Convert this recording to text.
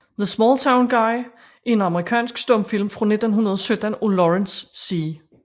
The Small Town Guy er en amerikansk stumfilm fra 1917 af Lawrence C